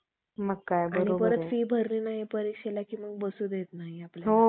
Notices तयार करून. पुढे त्या कुळ कार्यास सर्व लोकांच्या घरोघरी जाऊन. त्यांच्या भेटी घेऊन, notices वाटण्याचे काम सोपवले.